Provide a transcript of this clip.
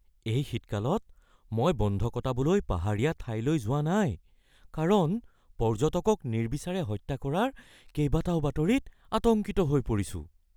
এই শীতকালত মই বন্ধ কটাবলৈ পাহাৰীয়া ঠাইলৈ যোৱা নাই কাৰণ পৰ্যটকক নিৰ্বিচাৰে হত্যা কৰাৰ কেইবাটাও বাতৰিত আতংকিত হৈ পৰিছো।